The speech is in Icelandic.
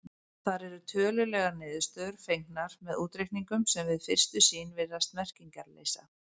Þar eru tölulegar niðurstöður fengnar með útreikningum sem við fyrstu sýn virðast merkingarleysa.